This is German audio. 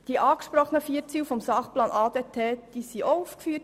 Die angesprochenen Ziele des Sachplans ADT sind ebenfalls aufgeführt: